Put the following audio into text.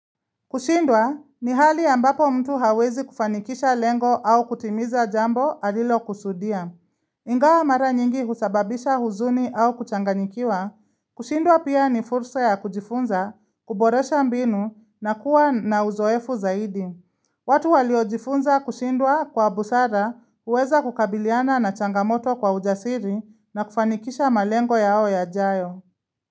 Kushindwa ni hali ambapo mtu hawezi kufanikisha lengo au kutimiza jambo alilokusudia. Ingawa mara nyingi husababisha huzuni au kuchanganikiwa, kushindwa pia ni fursa ya kujifunza, kuboresha mbinu na kuwa na uzoefu zaidi. Watu waliojifunza kushindwa kwa busara huweza kukabiliana na changamoto kwa ujasiri na kufanikisha malengo yao yajayo.